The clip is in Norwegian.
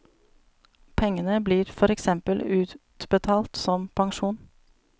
Pengene blir for eksempel utbetalt som pensjon.